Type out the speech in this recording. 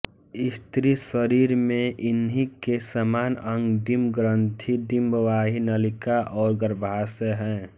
स्त्री शरीर में इन्हीं के समान अंग डिंबग्रंथि डिंबवाही नलिका और गर्भाशय हैं